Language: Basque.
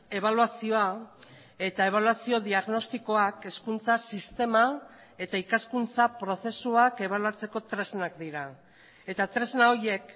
ebaluazioa eta ebaluazio diagnostikoak hezkuntza sistema eta ikaskuntza prozesuak ebaluatzeko tresnak dira eta tresna horiek